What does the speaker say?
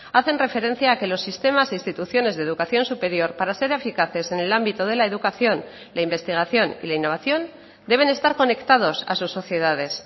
hacen referencia a que los sistemas e instituciones de educación superior para ser eficaces en el ámbito de la educación la investigación y la innovación deben estar conectados a sus sociedades